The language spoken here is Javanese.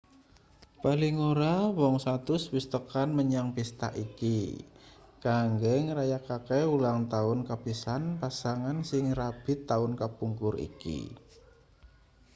paling ora wong 100 wis tekan menyang pista iki kanggo ngrayakake ulangtaun kapisan pasangan sing rabi taun kapungkur iki